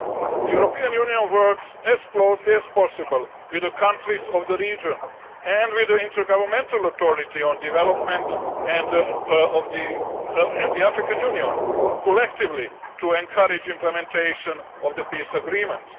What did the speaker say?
The European Union works as closely as possible with the countries of the region and with the Intergovernmental Authority on Development and the African Union collectively to encourage implementation of the peace agreement.